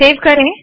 save करे